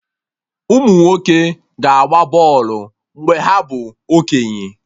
Umunwoke ga-agba bọlụ mgbe ha bụ okenye